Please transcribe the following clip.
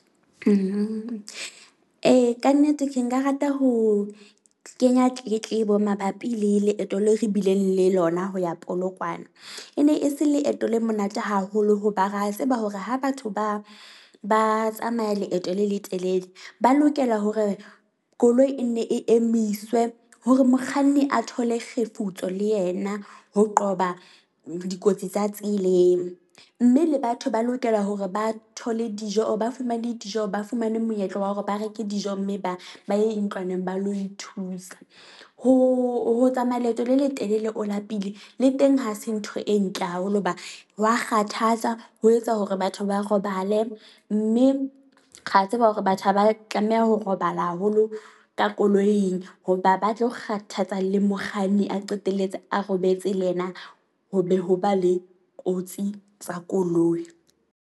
E, kannete ke nka rata ho kenya tletlebo mabapi le leeto le re bileng le lona ho ya Polokwane. E ne e se leeto le monate haholo hoba re a tseba hore ha batho ba ba tsamaya leeto le letelele. Ba lokela hore koloi e nne e emiswe hore mokganni a thole kgefutso le yena, ho qoba dikotsi tsa tseleng. Mme le batho ba lokela hore ba thole dijo or ba fumane dijo, ba fumane monyetla wa hore ba reke dijo mme ba ba ye ntlwaneng ba lo ithusa. Ho ho tsamaya leeto le letelele o lapile le teng ha se ntho e ntle haholo. Hoba wa kgathatsa ho etsa hore batho ba robale, mme ra tseba hore batho ha ba tlameha ho robala haholo ka koloing hoba ba tlo kgathatsa le mokganni a qetelletse a robetse le yena ho be ho ba le kotsi tsa koloi.